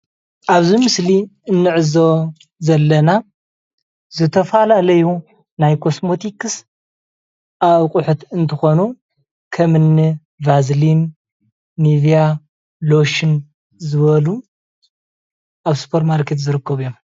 ኣብዚ ምስሊ እንዕዘቦ ዘለና ዝተፈላለዩ ናይ ኮስመቲክስ ኣቁሕት እንትኮኑ ከምኒ ቫዝሊን፣ ሊቪያ ፣ሎሽን ዝበሉ ኣብ ስፖር ማርኬት ዝርከቡ እዮም፡፡